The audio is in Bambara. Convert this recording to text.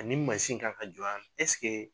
Ani mansin kan ka jɔ yan nɔ ɛseke